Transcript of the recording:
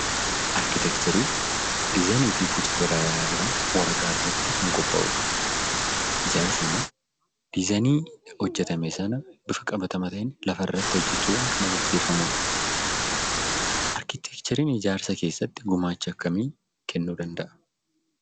Arkitekcheriin diizaayinii fi Boca garagaraa waraqaa irratti qopha'udha. Ijaarsi immoo diizaayinii hojjetame sana bifa qabamaa ta'een lafa irratti agarsiisu jechuudha.